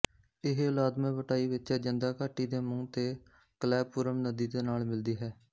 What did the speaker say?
ਇਹ ਉਦਾਲਮੈਪੱਟਾਈ ਵਿੱਚ ਅਜੰਦਾ ਘਾਟੀ ਦੇ ਮੂੰਹ ਤੇ ਕਲੈਪੁਰਮ ਨਦੀ ਦੇ ਨਾਲ ਮਿਲਦੀ ਹੈ